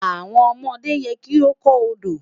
Awọn ọmọde yẹ ki o kọ Odo